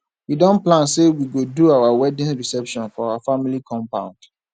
we don plan sey we go do our wedding reception for our family compound